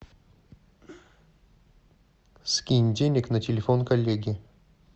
скинь денег на телефон коллеги